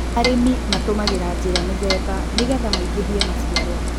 arĩmi matũmĩraga njĩra mĩthemba nĩgetha maigĩhie maciaro